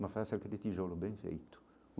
Mas faça aquele tijolo, bem feito.